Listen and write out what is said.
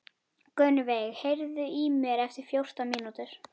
Gunnveig, heyrðu í mér eftir fjórtán mínútur.